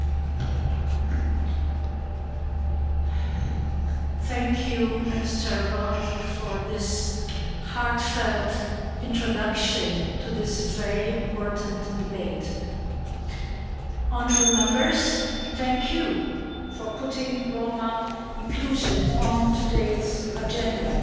Madam President, I thank Mr Roth for this heartfelt introduction to this very important debate. Honourable Members, thank you for putting Roma inclusion on today's agenda.